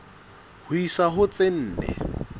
ho isa ho tse nne